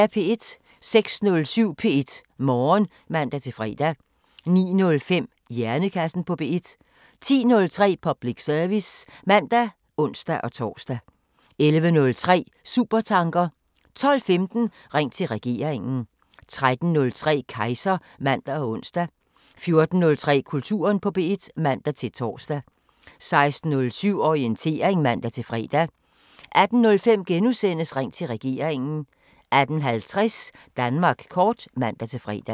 06:07: P1 Morgen (man-fre) 09:05: Hjernekassen på P1 10:03: Public service (man og ons-tor) 11:03: Supertanker 12:15: Ring til regeringen 13:03: Kejser (man og ons) 14:03: Kulturen på P1 (man-tor) 16:07: Orientering (man-fre) 18:05: Ring til regeringen * 18:50: Danmark kort (man-fre)